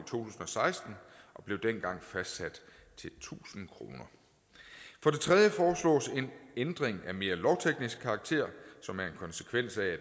tusind og seksten og blev dengang fastsat til tusind kroner for det tredje foreslås en ændring af mere lovteknisk karakter som en konsekvens af